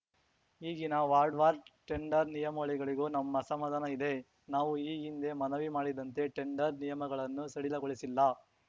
ಈಗಿನ ವಾರ್ಡ್‌ವಾರ್ ಟೆಂಡರ್‌ ನಿಯಮಾವಳಿಗಳಿಗೂ ನಮ್ಮ ಅಸಮಾಧಾನ ಇದೆ ನಾವು ಈ ಹಿಂದೆ ಮನವಿ ಮಾಡಿದಂತೆ ಟೆಂಡರ್‌ ನಿಯಮಗಳನ್ನು ಸಡಿಲಗೊಳಿಸಿಲ್ಲ